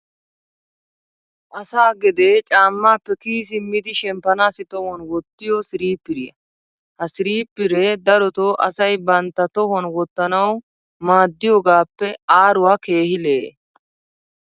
asaa gedee caamaappe kiyi simmidi shemppanaassi tohuwan wottiyo siriipiriya. ha siriipiree darotoo asay bantta tohuwan wottanawu maadiyoogaappe aaruwaa keehi lee'e.